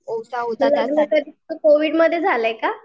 मग लग्न तुझं कोविडमध्ये झालंय का?